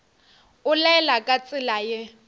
o laela ka tsela ye